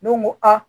N'o ko a